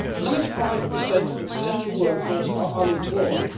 Ninety five per cent of the potential workforce are unemployed.